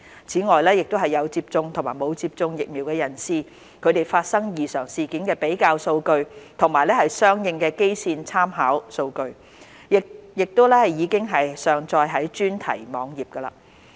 此外，有接種和沒有接種疫苗人士發生異常事件的比較數據和相應的基線參考數據，亦已上載至專題網頁。